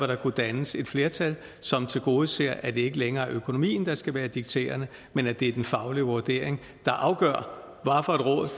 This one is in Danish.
der kunne dannes et flertal som tilgodeser at det ikke længere er økonomien der skal være dikterende men at det er den faglige vurdering der afgør